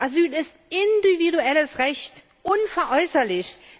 Asyl ist ein individuelles Recht, unveräußerlich.